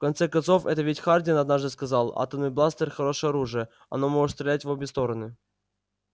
в конце концов это ведь хардин однажды сказал атомный бластер хорошее оружие оно может стрелять в обе стороны